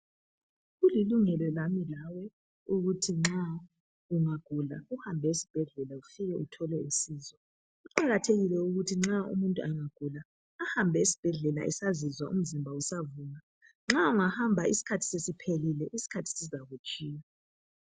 Kulilungelo lami lawe ukuthi nxa ungagula uhambe esibhedlela ufike uthole usizo. Kuqakathekile ukuthi nxa umuntu angagula ahambe esibhedlela esazizwa umzimba usavuma, nxa ungahamba isikhathi sesiphelile isikhathi sizakutshiya.